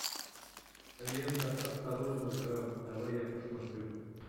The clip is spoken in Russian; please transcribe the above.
лента осторожно грамп давай я посмотрю